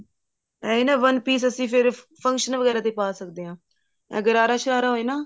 ਇਹੀ ਨਾ one piece ਅਸੀਂ ਫ਼ੇਰ function ਵਗੈਰਾ ਤੇ ਪਾ ਸਕਦੇ ਹਾਂ ਇਹ ਗਰਾਰਾ ਸ਼ਰਾਰਾ ਹੋਏ ਨਾ